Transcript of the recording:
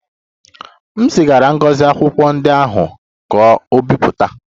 M zigara Ngozi akwụkwọ ndị ahụ ka o bipụta